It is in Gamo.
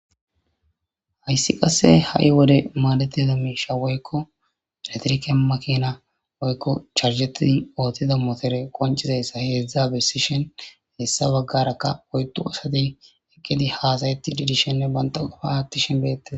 hayssi qasse ha7i wode maadetida miisha woykko eletrike makina woykko charseti ootida motere qoncizayssa heedzdzaabesishen hessa baggarakka oydu asate ekkedi haasayetti didishenne banta qufa aattishen beette